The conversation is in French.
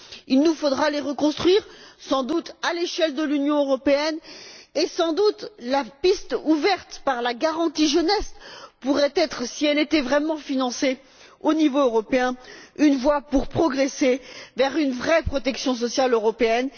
Il nous faudra sans doute les reconstruire à l'échelle de l'Union européenne et la piste ouverte par la garantie jeunesse pourrait être, si elle était vraiment financée au niveau européen, un moyen de progresser vers une véritable protection sociale européenne.